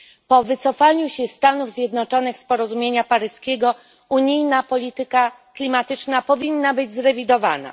Po wycofaniu się Stanów Zjednoczonych z porozumienia paryskiego unijna polityka klimatyczna powinna być zrewidowana.